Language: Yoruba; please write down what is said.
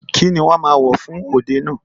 Kíni wọ́n ma wò fún òde náà?